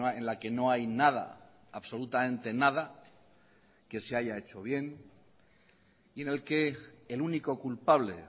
en la que no hay nada absolutamente nada que se haya hecho bien y en el que el único culpable